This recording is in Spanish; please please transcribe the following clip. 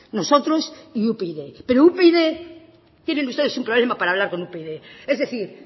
nosotros y upyd pero upyd tienen ustedes un problema para hablar con upyd es decir